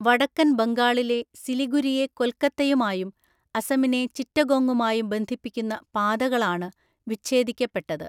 വടക്കൻ ബംഗാളിലെ സിലിഗുരിയെ കൊൽക്കത്തയുമായും അസമിനെ ചിറ്റഗോംഗുമായും ബന്ധിപ്പിക്കുന്ന പാതകളാണ് വിച്ഛേദിക്കപ്പെട്ടത്.